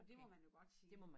Og det må man jo godt sige